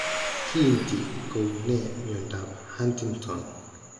Kiinti ko uu ne mnyandoap Huntington?